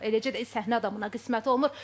Eləcə də səhnə adamına qismət olmur.